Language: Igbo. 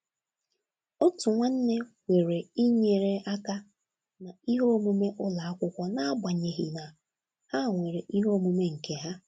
Otu nwanne kwere inyere aka na ihe omume ụlọ akwụkwọ n’agbanyeghị na ha nwere ihe omume nke ha.